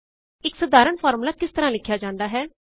ਇਕ ਸਾਧਾਰਣ ਫ਼ਾਰਮੂਲਾ ਕਿਸ ਤਰਹ ਲਿਖਿਆ ਜਾਂਦਾ ਹੈ